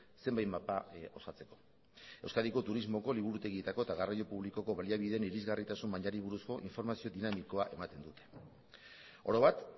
zenbait mapa osatzeko euskadiko turismoko liburutegietako eta garraio publikoko baliabideen irisgarritasun mailari buruzko informazio dinamikoa ematen du oro bat